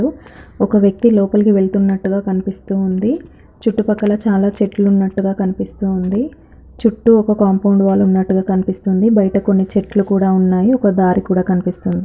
ఒక వ్యక్తి లోపలికి వెళుతున్నట్టుగా కనిపిస్తూ ఉంది చుట్టుపక్కలా చాలా చెట్లు ఉన్నట్టుగా కనిపిస్తోంది చుట్టూ ఒక కాంపౌండ్ వాల్ ఉన్నట్టుగా కనిపిస్తోంది బయట కొన్ని చెట్లు కూడా ఉన్నాయి ఒక దారి కూడా కనిపిస్తోంది.